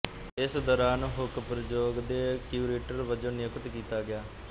ਇਸ ਦੌਰਾਨ ਹੁੱਕ ਪ੍ਰਯੋਗ ਦੇ ਕਿਉਰੇਟਰ ਵਜੋਂ ਨਿਯੁਕਤ ਕੀਤਾ ਗਿਆ